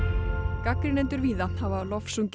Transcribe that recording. gagnrýnendur víða hafa lofsungið